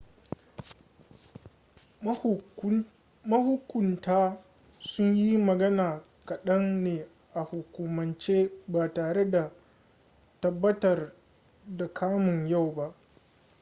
mahukunta sun yi magana kaɗan ne a hukumance ba tare da tabbatar da kamun yau ba